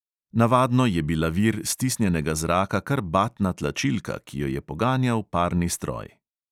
Navadno je bila vir stisnjenega zraka kar batna tlačilka, ki jo je poganjal parni stroj.